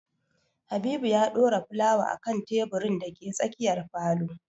Habibu ya ɗora fulawa a kan teburin da ke tsakiyar falo